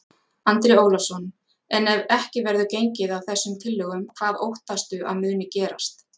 Andri Ólafsson: En ef ekki verður gengið að þessum tillögum, hvað óttastu að muni gerast?